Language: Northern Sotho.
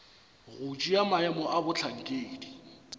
go tšea maemo a bohlankedi